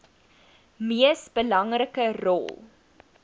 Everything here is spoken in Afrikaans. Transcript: mees belangrike rol